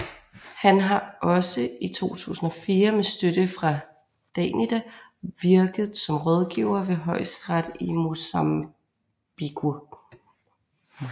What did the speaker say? Han har også i 2004 med støtte fra DANIDA virket som rådgiver ved Højesteret i Mozambique